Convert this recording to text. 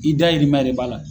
I dayirimɛ de b'a la